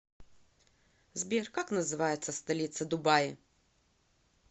сбер как называется столица дубаи